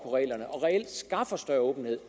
reglerne og reelt skaffer større åbenhed